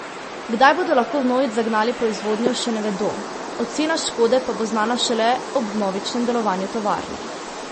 Kdaj bodo lahko vnovič zagnali proizvodnjo, še ne vedo, ocena škode pa bo znana šele ob vnovičnem delovanju tovarne.